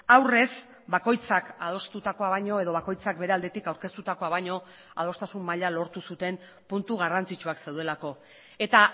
aurrez bakoitzak adostutakoa baino edo bakoitzak bere aldetik aurkeztutakoa baino adostasun maila lortu zuten puntu garrantzitsuak zeudelako eta